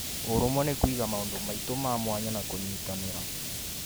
Ũrũmwe nĩ kũiga maũndũ maitũ ma mwanya na kũnyitanĩra